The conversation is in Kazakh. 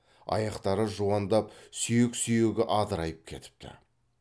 аяқтары жуандап сүйек сүйегі адырайып кетіпті